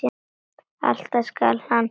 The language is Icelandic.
Alltaf skal hann breyta rétt.